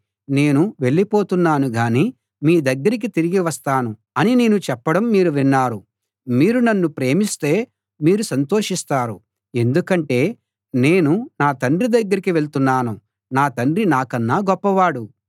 నేను వెళ్ళిపోతున్నాను గాని మీ దగ్గరికి తిరిగి వస్తాను అని నేను చెప్పడం మీరు విన్నారు మీరు నన్ను ప్రేమిస్తే మీరు సంతోషిస్తారు ఎందుకంటే నేను నా తండ్రి దగ్గరికి వెళ్తున్నాను నా తండ్రి నాకన్నా గొప్పవాడు